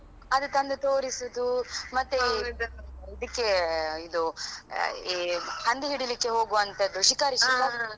ಅದು ತಂದು ತೋರಿಸುದು ಮತ್ತೆ ಮತ್ತೆ ಇದಕ್ಕೆ ಅಹ್ ಇದು ಈ ಹಂದಿ ಹಿಡಿಲಿಕೆ ಹೋಗುವಂತದು ಶಿಕಾರಿ ಶಿಕಾರಿ